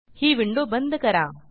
ही window बंद करा